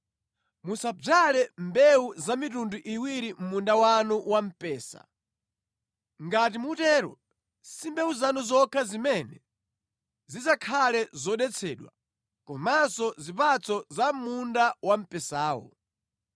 Musadzale mbewu zamitundu iwiri mʼmunda wanu wa mpesa, ngati mutero, si mbewu zanu zokha zimene zidzakhale zodetsedwa, komanso zipatso za mʼmunda wamphesawo.